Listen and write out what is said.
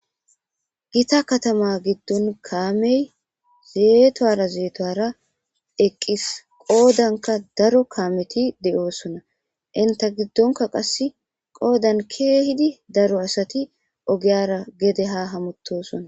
gita katama giddon kaamey zeetuwara zeetuwara eqqis qoodanka daro kaameti de7oosona inta giddonka qas qoodan keehidi daro asati ogeyara gede ha hamutosona